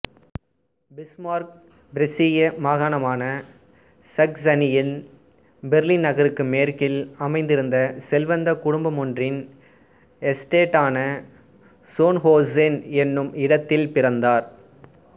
Bismarck பிரசிய மாகாணமான சக்சனியில் பெர்லின் நகருக்கு மேற்கில் அமைந்திருந்த செல்வந்தக் குடும்பமொன்றின் எஸ்டேட்டான சோன்ஹோசென் என்னும் இடத்தில் பிறந்தார்